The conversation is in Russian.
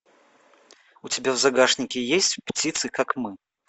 у тебя в загашнике есть птицы как мы